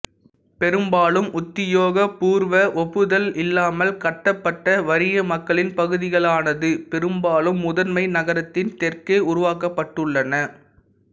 பெரும்பாலும் உத்தியோகபூர்வ ஒப்புதல் இல்லாமல் கட்டப்பட்ட வறிய மக்களின் பகுதிகளானது பெரும்பாலும் முதன்மை நகரத்தின் தெற்கே உருவாக்கப்பட்டுள்ளன